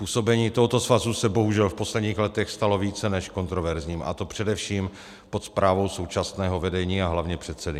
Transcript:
Působení tohoto svazu se bohužel v posledních letech stalo více než kontroverzním, a to především pod správou současného vedení a hlavně předsedy.